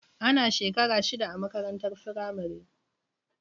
Ana shekara shida a makarantar firamare.